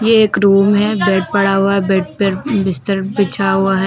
ये एक रूम है बेड पड़ा हुआ है बेड पर बिस्तर बिछा हुआ है।